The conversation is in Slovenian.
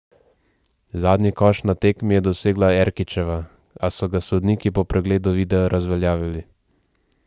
Zadnji koš na tekmi je dosegla Erkićeva, a so ga sodniki po pregledu videa razveljavili.